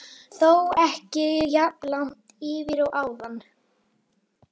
Þó ekki jafn langt yfir og áðan.